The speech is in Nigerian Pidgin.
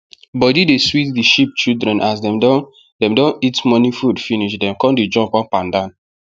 body dey sweet the sheep children as dem don dem don eat morning food finish dem con dey jump upandan